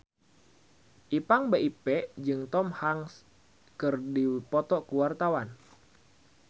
Ipank BIP jeung Tom Hanks keur dipoto ku wartawan